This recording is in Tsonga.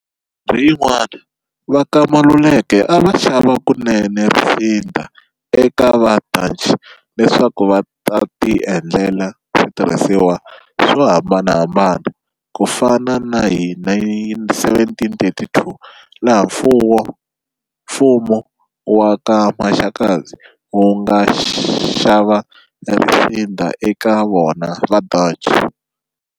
Minkarhi yin'wani va ka Maluleke a va xava kunene risinda eka vaDutch leswaku va ta ti endlela switirhisiwa swo hambanahambana, ku fana na hi 1732 laha mfumu wa ka Maxakadzi wu nga xava risinda eka vona vaDutch.